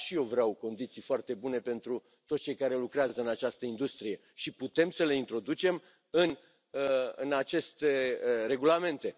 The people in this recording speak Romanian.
Da, și eu vreau condiții foarte bune pentru toți cei care lucrează în această industrie și putem să le introducem în aceste regulamente.